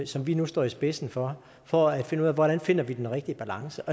som vi nu står i spidsen for for at finde ud af hvordan vi finder den rigtige balance